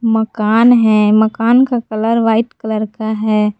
मकान है मकान का कलर व्हाइट कलर का है।